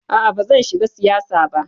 A'a bazan shiga siyasa ba.